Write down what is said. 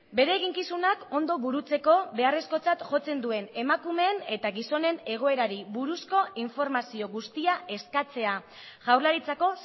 bere eginkizunak ondo burutzeko beharrezkotzat jotzen duen emakumeen eta gizonen egoerari buruzko informazio guztia eskatzea jaurlaritzako